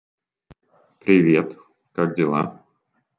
привет как дела